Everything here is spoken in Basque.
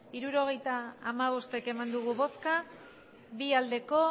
hirurogeita hamabost eman dugu bozka bi bai